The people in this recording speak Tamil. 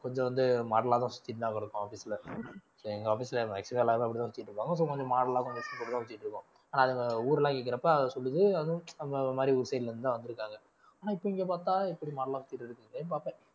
கொஞ்சம் வந்து model ஆ தான் சுத்திட்டுதான் இருக்கோம் office ல எங்க office ல maximum ஆ எல்லாரும் அப்படிதான் சுத்திட்டு இருப்பாங்க so நம்ப model லா கொஞ்சம் சுத்திட்டு இருக்கோம் அது ஊரெல்லாம் கேக்குறப்ப அது சொல்லுது அதுவும் அந்த மாதிரி ஊர் side ல இருந்து தான் வந்திருக்காங்க ஆனா இப்ப இங்க பாத்தா எப்படி model லா சுத்திட்டு இருக்குதுங்களேன்னு பாப்பேன்